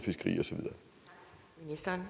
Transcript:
så